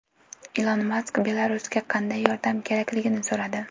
Ilon Mask Belarusga qanday yordam kerakligini so‘radi.